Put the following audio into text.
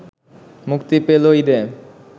মুক্তি পেল ঈদে